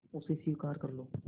उसे स्वीकार कर लो